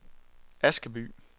Askeby